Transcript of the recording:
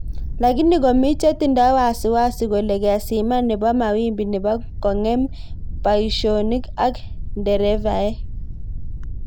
Lakini komi chetindo wasiwasi kole keziman nebo mawimbi nebo konge'em baishek ak nderevae.